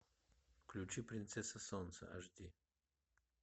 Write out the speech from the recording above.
включи принцесса солнца аш ди